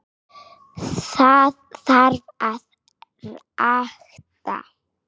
Það þarf að rækta.